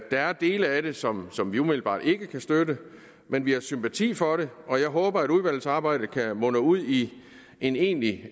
er dele af det som som vi umiddelbart ikke kan støtte men vi har sympati for det og jeg håber at udvalgsarbejdet kan munde ud i en egentlig